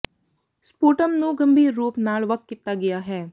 sputum ਨੂੰ ਗੰਭੀਰ ਰੂਪ ਨਾਲ ਵੱਖ ਕੀਤਾ ਗਿਆ ਹੈ